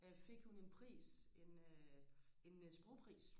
øh fik hun en pris en øh en sprogpris